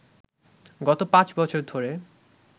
গত পাঁচ বছর ধরে